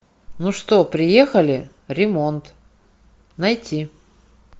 ну что приехали ремонт найти